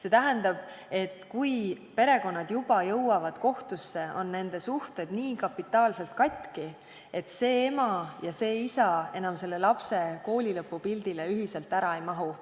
See tähendab, et kui perekonnad jõuavad kohtusse, on nende suhted juba nii kapitaalselt katki, et ema ja isa enam lapse koolilõpupildile ühiselt ära ei mahu.